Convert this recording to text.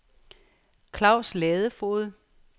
Claus Ladefoged